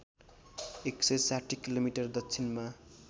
१६० kilometre दक्षिणमा